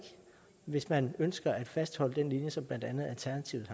hvis man ønsker at fastholde den linje som blandt andet alternativet